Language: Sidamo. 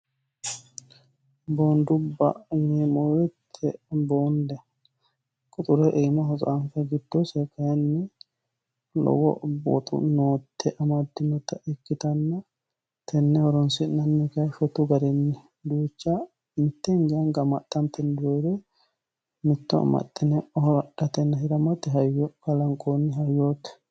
Boondubba yineemmo woyiite quxure aanasi tsaanfe giddose lowo nootte amaddinote mitto amaxxine hirate kalanqoonni hayyooti.